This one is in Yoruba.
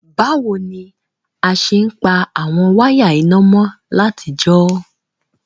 Bàwoni a se n pa àwon wire iná mo látijọ́?